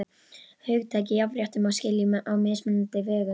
Hugtakið jafnrétti má skilja á mismunandi vegu.